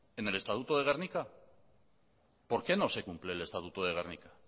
en el estatuto de gernika por qué no se cumple el estatuto de gernika